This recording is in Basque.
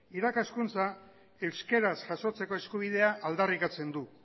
irakaskuntza euskaraz jasotzeko eskubidea aldarrikatzen du